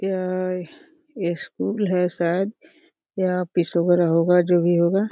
यह अ ये स्कूल है शायद या ऑफिस वेगेरा होगा जो भी होगा।